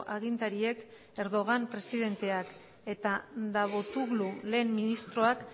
agintariek erdogan presidenteak eta davutoglu lehen ministroak